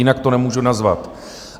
Jinak to nemůžu nazvat.